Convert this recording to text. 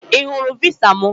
I hụrụ visa m